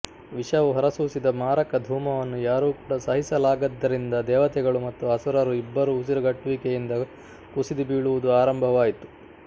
ವಿಷವು ಹೊರಸೂಸಿದ ಮಾರಕ ಧೂಮವನ್ನು ಯಾರೂ ಕೂಡ ಸಹಿಸಲಾಗದ್ದರಿಂದ ದೇವತೆಗಳು ಮತ್ತು ಅಸುರರು ಇಬ್ಬರೂ ಉಸಿರುಗಟ್ಟುವಿಕೆಯಿಂದ ಕುಸಿದು ಬೀಳುವುದು ಆರಂಭವಾಯಿತು